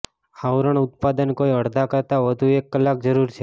આવરણ ઉત્પાદન કોઈ અડધા કરતાં વધુ એક કલાક જરૂર છે